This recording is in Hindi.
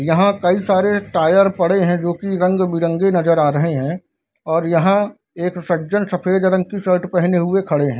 यहां कई सारे टायर पड़े है जो की रंग बिरंगे नजर आ रहे है और यहां एक सज्जन सफेद रंग के शर्ट पहने हुए खड़े है।